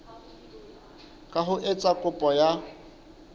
ka ho etsa kopo ya